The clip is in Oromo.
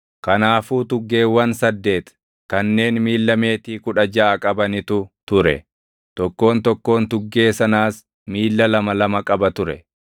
Kanaafuu tuggeewwan saddeeti kanneen miilla meetii kudha jaʼa qabanitu ture; tokkoon tokkoon tuggee sanaas miilla lama lama qaba ture.